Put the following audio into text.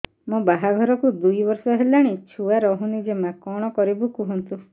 ମୋ ବାହାଘରକୁ ଦୁଇ ବର୍ଷ ହେଲାଣି ଛୁଆ ରହୁନି ଜମା କଣ କରିବୁ କୁହନ୍ତୁ